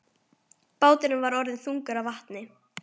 Báturinn var orðinn þungur af vatni.